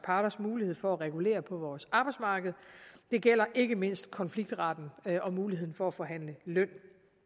parters mulighed for at regulere på vores arbejdsmarked det gælder ikke mindst konfliktretten og muligheden for at forhandle løn